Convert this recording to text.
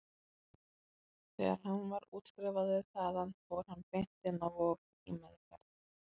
Þegar hann var útskrifaður þaðan fór hann beint inn á Vog, í meðferð.